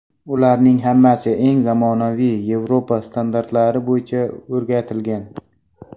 Ularning hammasi eng zamonaviy yevropa standartlari bo‘yicha o‘rgatilgan.